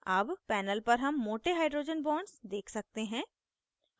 अब panel पर हम मोटे hydrogen bonds देख सकते हैं